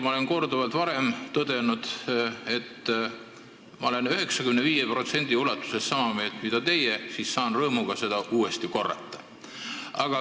Ma olen varem korduvalt tõdenud, et ma olen 95% ulatuses sama meelt mis teie, ja ma saan rõõmuga seda uuesti korrata.